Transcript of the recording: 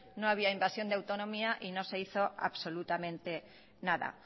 no había invasión de autonomía y no se hizo absolutamente nada